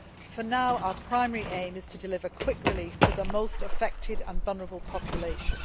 For now, our primary aim is to deliver quick relief to the most affected and vulnerable populations.